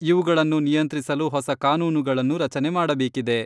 ಇವುಗಳನ್ನು ನಿಯಂತ್ರಿಸಲು ಹೊಸ ಕಾನೂನುಗಳನ್ನು ರಚನೆ ಮಾಡಬೇಕಿದೆ.